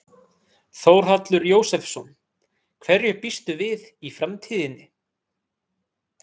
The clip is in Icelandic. Þórhallur Jósefsson: Hverju býstu við í framtíðinni?